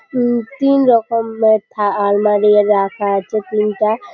উঁ তিন রকম এর থা আলমারি রাখা আছে তিনটা।